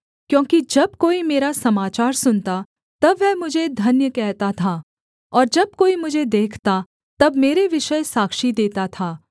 क्योंकि जब कोई मेरा समाचार सुनता तब वह मुझे धन्य कहता था और जब कोई मुझे देखता तब मेरे विषय साक्षी देता था